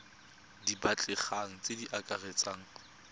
di batlegang tse di akaretsang